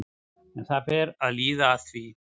En það fer að líða að því.